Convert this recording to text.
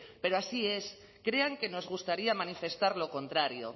pero así es crean que nos gustaría manifestar lo contrario